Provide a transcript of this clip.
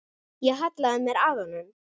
Ég hallaði mér að honum.